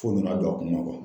Fo nana don a kun na